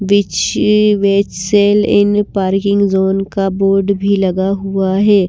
इन parking zone का board भी लगा हुआ है।